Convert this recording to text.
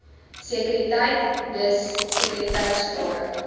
sekuriteit dis sekuriteitsklaring